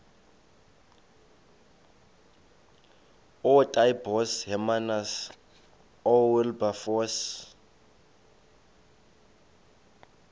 ootaaibos hermanus oowilberforce